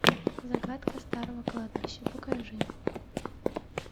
загадка старого кладбища покажи